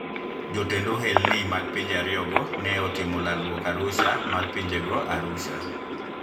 Jotend ohelni mag pinje ariyogo ne otimo lalruok Arusha mar pinjego Arusha,